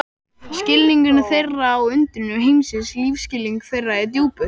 Skilningur þeirra á undrum heimsins lífsskilningur þeirra er djúpur.